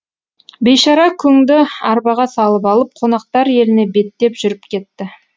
бейшара күңді арбаға салып алып қонақтар еліне беттеп жүріп кетті